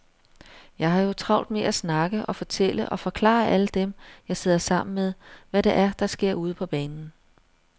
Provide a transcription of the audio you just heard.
Jeg har jo travlt med at snakke og fortælle og forklare alle dem, jeg sidder sammen med, hvad det er, der sker ude på banen.